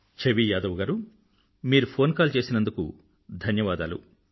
ఛవీ యాదవ్ గారూ మీరు phone call చేసినందుకు ధన్యవాదాలు